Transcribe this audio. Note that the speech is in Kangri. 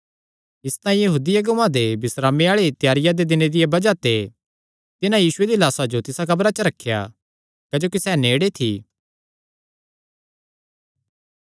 इसतांई यहूदी अगुआं दे बिस्रामे दी त्यारिया आल़े दिने दिया बज़ाह ते तिन्हां यीशु दिया लाह्सा जो तिसा कब्रा च रखेया क्जोकि सैह़ नेड़े थी